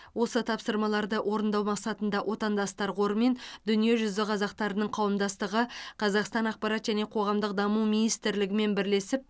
осы тапсырмаларды орындау мақсатында отандастар қоры мен дүниежүзі қазақтарының қауымдастығы қазақстан ақпарат және қоғамдық даму министрлігімен бірлесіп